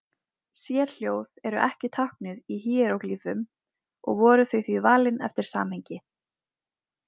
Sérhljóð eru ekki táknuð í híeróglýfum og voru þau því valin eftir samhengi.